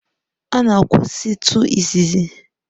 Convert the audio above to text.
A na-akwụsịtụ isi isi.